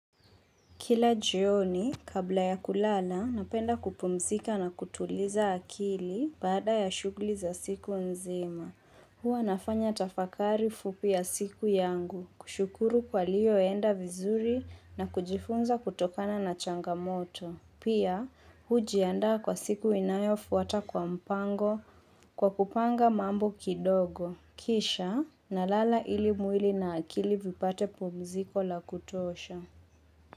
Kila jioni, kabla ya kulala, napenda kupumzika na kutuliza akili baada ya shughuli za siku nzima. Huwa nafanya tafakari fupi ya siku yangu, kushukuru kwa yaliyo enda vizuri na kujifunza kutokana na changamoto. Pia, hujiandaa kwa siku inayofuata kwa mpango kwa kupanga mambo kidogo. Kisha, nalala ili mwili na akili vipate pumziko la kutosha.